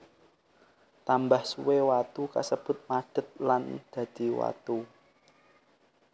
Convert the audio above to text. Tambah suwe watu kasebut madet lan dadi watu